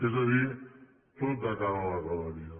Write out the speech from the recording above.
és a dir tot de cara a la galeria